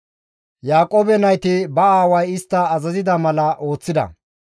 Yaaqoobe nayti ba aaway istta azazida mala ooththida;